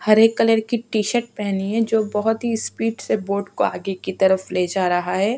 हरे colour की T-shirt पेहनी है जो बहुत ही स्पीड से बोट को आगे की तरफ ले जा रहा है।